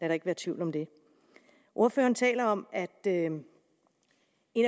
der ikke være tvivl om det ordføreren taler om at en